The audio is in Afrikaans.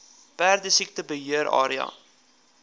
perdesiekte beheer area